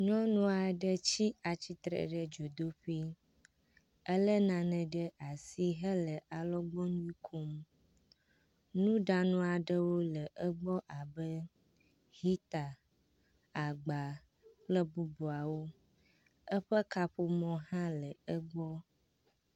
Nyɔnu aɖe tsi atsitre ɖe dzodoƒui. Elé nane ɖe asi hele alɔgbɔnui kom. Nuɖanu aɖewo le egbɔ abe, heater, agba, kple bubuawo. Eƒe kaƒomɔ hã le egbɔ.